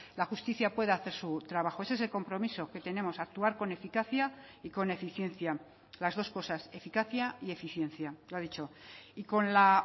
la justicia pueda hacer su trabajo ese es el compromiso que tenemos actuar con eficacia y con eficiencia las dos cosas eficacia y eficiencia lo ha dicho y con la